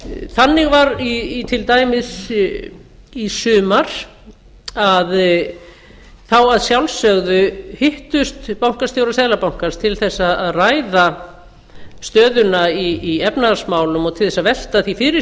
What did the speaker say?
þannig var til dæmis í sumar að þá að sjálfsögðu hittust bankastjórar seðlabankans til þess að ræða stöðuna í efnahagsmálum og til þess að velta því fyrir